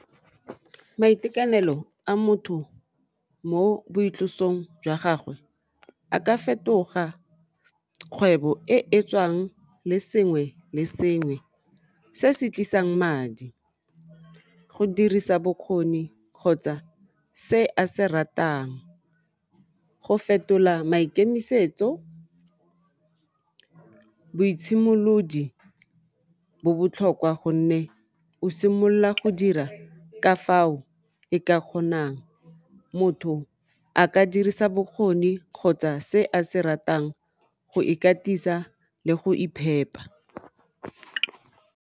Maitekanelo a motho mo boitlosong jwa gagwe a ka fetoga kgwebo e e tswang le sengwe le sengwe se se tlisang madi go dirisa bokgoni kgotsa se a se ratang go fetola maikemisetso, boitshemolodi bo botlhokwa gonne o simolla go dira ka fao e ka kgonang motho a ka dirisa bokgoni kgotsa se a se ratang go ikatisa le go iphepa.